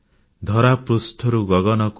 ଧରା ପୃଷ୍ଠରୁ ଗଗନକୁ